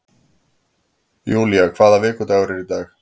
Julia, hvaða vikudagur er í dag?